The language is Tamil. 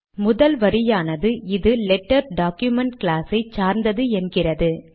முதல் வரியானது இது லெட்டர் டாக்குமென்ட் க்ளாஸ் ஐ சார்ந்தது என்கிறது